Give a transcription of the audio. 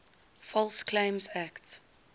false claims act